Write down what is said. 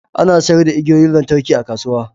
Ana sayar da igiyoyin lantarki a kasuwa